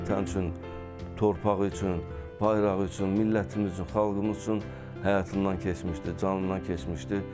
Vətən üçün, torpağı üçün, bayrağı üçün, millətimiz üçün, xalqımız üçün həyatından keçmişdi, canından keçmişdi.